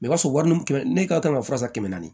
o b'a sɔrɔ wari kɛmɛ ne ka kan ka fura san kɛmɛ ye